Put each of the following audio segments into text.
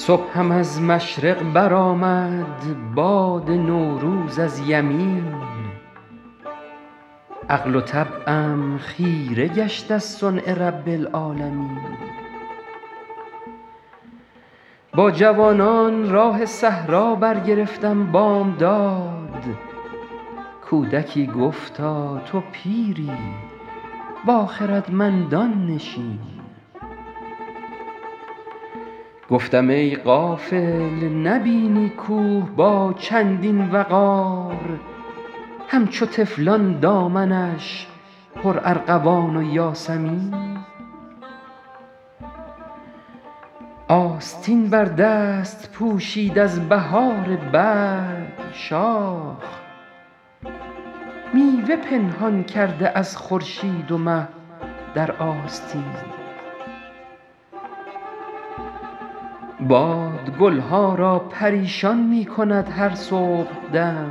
صبحم از مشرق برآمد باد نوروز از یمین عقل و طبعم خیره گشت از صنع رب العالمین با جوانان راه صحرا برگرفتم بامداد کودکی گفتا تو پیری با خردمندان نشین گفتم ای غافل نبینی کوه با چندین وقار همچو طفلان دامنش پرارغوان و یاسمین آستین بر دست پوشید از بهار برگ شاخ میوه پنهان کرده از خورشید و مه در آستین باد گل ها را پریشان می کند هر صبحدم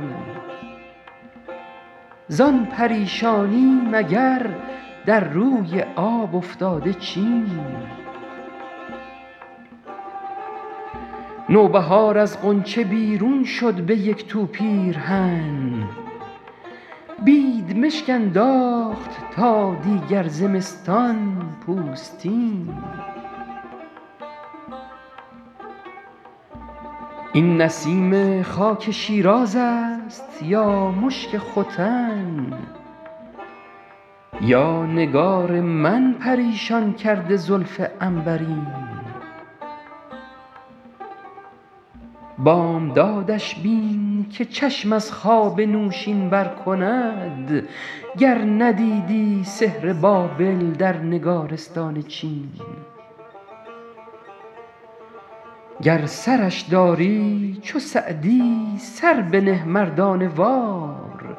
زان پریشانی مگر در روی آب افتاده چین نوبهار از غنچه بیرون شد به یک تو پیرهن بیدمشک انداخت تا دیگر زمستان پوستین این نسیم خاک شیراز است یا مشک ختن یا نگار من پریشان کرده زلف عنبرین بامدادش بین که چشم از خواب نوشین بر کند گر ندیدی سحر بابل در نگارستان چین گر سرش داری چو سعدی سر بنه مردانه وار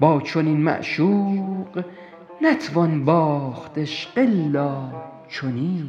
با چنین معشوق نتوان باخت عشق الا چنین